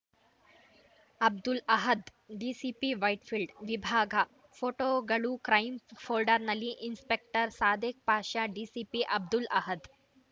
ಅಬ್ದುಲ್‌ ಅಹದ್‌ ಡಿಸಿಪಿವೈಟ್‌ಫೀಲ್ಡ್‌ ವಿಭಾಗ ಫೋಟೋಗಳು crime ಫೋಲ್ಡರ್‌ನಲ್ಲಿ inspector Sadiq ಷಾಷಾ DCP Abdul Ahad